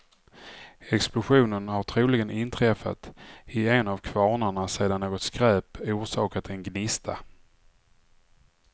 Explosionen har troligen inträffat i en av kvarnarna sedan något skräp orsakat en gnista.